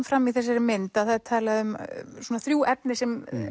fram í þessari mynd að það er talað um svona þrjú efni sem